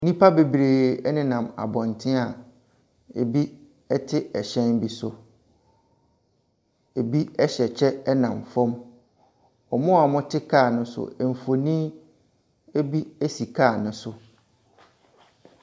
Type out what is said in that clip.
Nnipa bebree nenam abɔnten a ebi te ɛhyɛn bi so. Ebi hyɛ kyɛ nam fam. Wɔn a wɔte car no so mfoni bi si car no so.